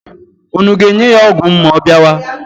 Unu ga-enye ya ọgwụ m ma ọ bịawa?